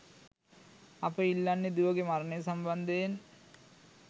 අප ඉල්ලන්නේ දුවගේ මරණය සම්බන්ධයෙන්